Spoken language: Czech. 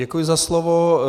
Děkuji za slovo.